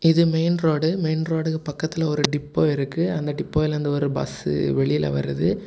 இது main road main ரோடுக்கு பக்கத்துல ஒரு டிப்போ இருக்கு அந்த டிப்போய்ல இருந்து ஒரு பஸ்சு வெளில வருது.